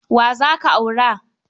Wa za ka aura?